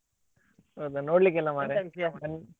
ಹೌದಾ ನೋಡ್ಲಿಕ್ಕಿಲ್ಲ ಮಾರ್ರೆ.